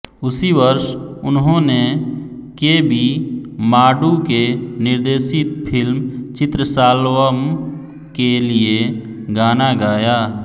उसी वर्ष उन्होंने के बी माडु के निर्देशित फिल्म चित्रशालवम के लिए गाना गाया